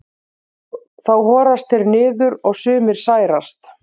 Þá horast þeir niður og sumir særast.